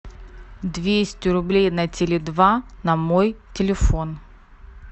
двести рублей на теле два на мой телефон